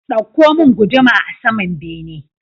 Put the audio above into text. Ɗauko mun guduma a saman bene